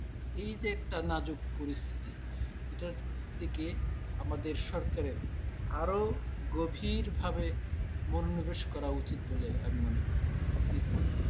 এইযে একটা নাজুক পরিস্থিতি, এটার দিকে আমাদের সরকারের আরো গভীর ভাবে মনোনিবেশ করা উচিত বলে আমি মনে করি। আপনি কি মনে করেন?